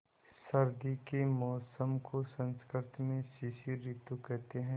सर्दी के मौसम को संस्कृत में शिशिर ॠतु कहते हैं